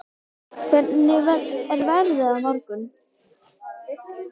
Össur, hvernig er veðrið á morgun?